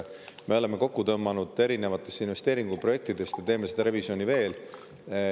Me oleme kokku tõmmanud erinevaid investeeringuprojekte ja teeme seda revisjoni veel.